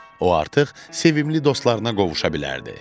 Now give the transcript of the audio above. O artıq sevimli dostlarına qovuşa bilərdi.